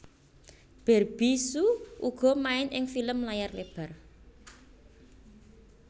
Barbie hsu uga main ing film layar lebar